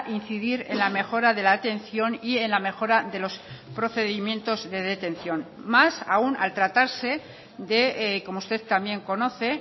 incidir en la mejora de la atención y en la mejora de los procedimientos de detención más aún al tratarse de como usted también conoce